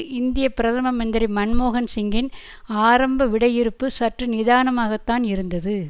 இந்திய பிரதம மந்திரி மன்மோகன் சிங்கின் ஆரம்ப விடையிறுப்பு சற்று நிதானமாகத்தான் இருந்தது